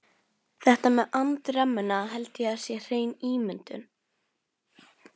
Þetta með andremmuna held ég sé hrein ímyndun.